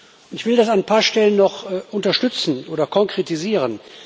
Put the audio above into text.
Und ich will das an ein paar Stellen noch unterstützen oder konkretisieren.